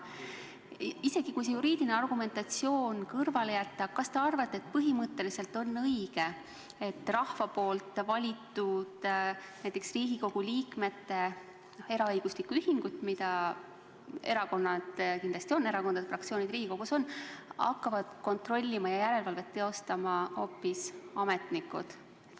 Aga isegi kui see juriidiline argumentatsioon kõrvale jätta, kas te arvate, et põhimõtteliselt on õige, et rahva valitud Riigikogu liikmete eraõiguslikku ühingut, mida erakonnad kindlasti on – ja see hõlmab ka erakondade fraktsioone Riigikogus – hakkavad kontrollima ja järelevalvet teostama hoopis ametnikud?